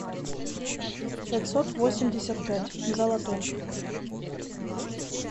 пятьсот восемьдесят пять золотой